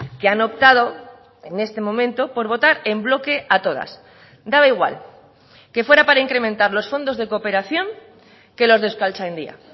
que han optado en este momento por votar en bloque a todas daba igual que fuera para incrementar los fondos de cooperación que los de euskaltzaindia